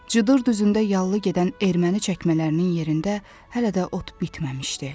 Cıdır düzündə yallı gedən erməni çəkmələrinin yerində hələ də ot bitməmişdi.